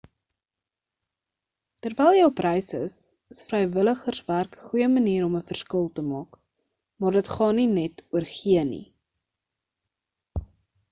terwyl jy op reis is is vrywilligerswerk 'n goeie manier om 'n verskil te maak maar dit gaan nie net oor gee nie